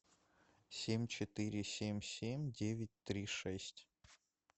семь четыре семь семь девять три шесть